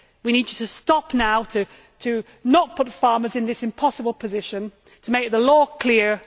We need you to stop now, not to put farmers in this impossible position, and to make the law clear.